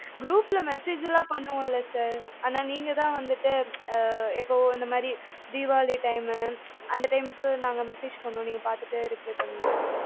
group ல message எல்லாம் பண்ணுவோம்ல sir ஆனா நீங்க தான் வந்துட்டு ஆஹ் எப்பவும் இந்த மாதிறி தீவாளி time அந்த time க்கு நாங்க message பண்ணுவோம் நீங்க பாத்துட்டு reply பண்ணுவீங்க